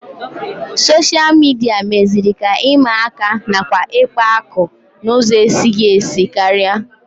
Soshal midia meziri ka ịma aka nakwa ikpa akụ n'ụzọ ezighị ezi karịa